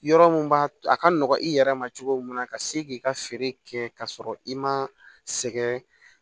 Yɔrɔ mun b'a to a ka nɔgɔn i yɛrɛ ma cogo mun na ka se k'i ka feere kɛ k'a sɔrɔ i ma sɛgɛn